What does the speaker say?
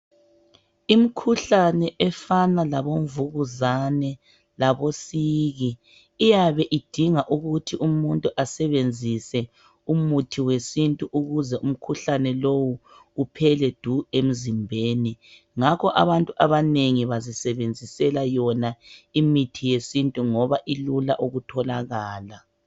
Imkhuhlane efana labomvukuzane labosiki iyabe idinga ukuthi umuntu asebenzise umuthi yesintu ukuze umkhuhlane lowu uphele du emzimbeni. Ngakho abantu abanengi bazisebenzisela yona imithi yesintu ngoba ilula ukutholakala.